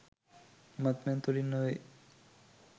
මත්පැන් තුළින් නොවේ.